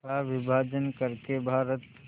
का विभाजन कर के भारत